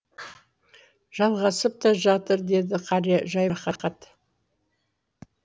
жалғасып та жатыр деді қария жайбарақат